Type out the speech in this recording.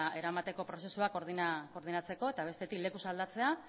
eramateko prozesua koordinatzeko eta bestetik lekuz aldatzea